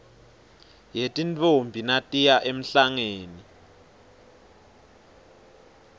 yetintfombi natiya emhlangeni